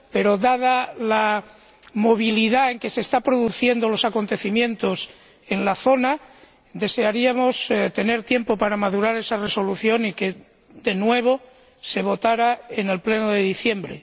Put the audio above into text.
Pero dada la celeridad con la que se están produciendo los acontecimientos en la zona, desearíamos tener tiempo para madurar esa resolución y que se votara en el Pleno de diciembre.